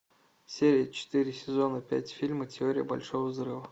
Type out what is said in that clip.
серия четыре сезона пять фильма теория большого взрыва